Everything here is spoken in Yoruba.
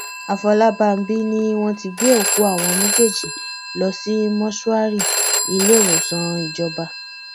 àfọlábàbí ni wọn ti gbé òkú àwọn méjèèjì lọ sí mọṣúárì ilẹwòsàn ìjọba